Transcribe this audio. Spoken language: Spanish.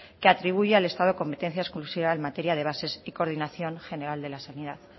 que atribuye al estado competencias exclusivas en materia de bases y coordinación general de la sanidad